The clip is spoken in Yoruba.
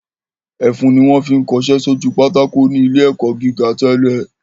Ẹfun ni wọ́n fi ń kọṣẹ́ sójú pátákó ní ilé ẹ̀kọ́ gíga tẹ́lẹ̀